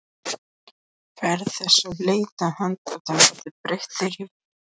Ferð þess á leit að handritinu verði breytt þér í vil.